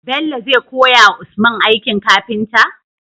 Bello zai koya wa usman aikin kafinta?